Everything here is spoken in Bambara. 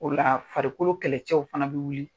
O la farikolo kɛlɛcɛw fana bɛ wuli.